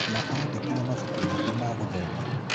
na andĩkire mabuku maingĩ ma gũthoma